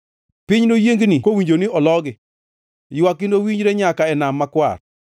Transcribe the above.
Piny noyiengni kowinjo ni ologi; ywakgi nowinjre nyaka e Nam Makwar.